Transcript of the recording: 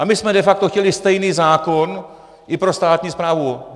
A my jsme de facto chtěli stejný zákon i pro státní správu.